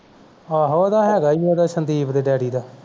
ਆਹੋ ਉਦਾ ਹੈਗਾ ਹੀ Sandeep ਦੇ daddy ਦਾ